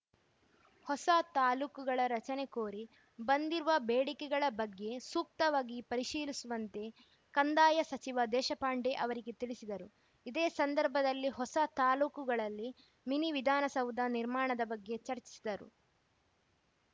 ಹೊಸ ತಾಲೂಕುಗಳ ರಚನೆ ಕೋರಿ ಬಂದಿರುವ ಬೇಡಿಕೆಗಳ ಬಗ್ಗೆ ಸೂಕ್ತವಾಗಿ ಪರಿಶೀಲಿಸುವಂತೆ ಕಂದಾಯ ಸಚಿವ ದೇಶಪಾಂಡೆ ಅವರಿಗೆ ತಿಳಿಸಿದರು ಇದೇ ಸಂದರ್ಭದಲ್ಲಿ ಹೊಸ ತಾಲೂಕುಗಳಲ್ಲಿ ಮಿನಿ ವಿಧಾನಸೌಧ ನಿರ್ಮಾಣದ ಬಗ್ಗೆ ಚರ್ಚಿಸಿದರು